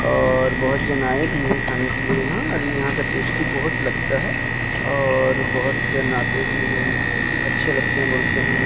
और बहोत जन आए भी है खाने के लिए यहां और यहां का टेस्टी बहोत लगता है और बहोत जन आते भी हैं अच्छे लगते हैं बोलते हैं।